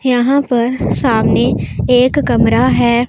यहां पर सामने एक कमरा है।